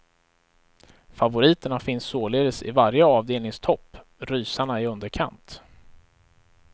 Favoriterna finns således i varje avdelnings topp, rysarna i underkant.